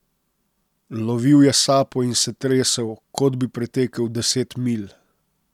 Lovil je sapo in se tresel, kot bi pretekel deset milj.